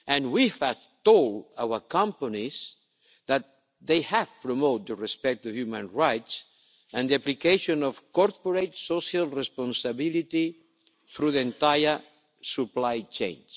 We have told our companies that they have to promote the respect of human rights and the application of corporate social responsibility through the entire supply chain.